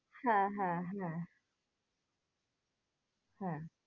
হ্যাঁ হ্যাঁ হ্যাঁ হ্যাঁ